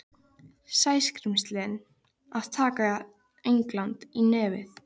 Sæskrímslin að taka England í nefið.